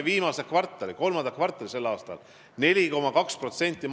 Võtame viimase, kolmanda kvartali sel aastal – majanduskasv olid 4,2%.